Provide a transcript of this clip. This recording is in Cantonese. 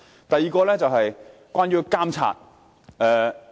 第二點是關於監察。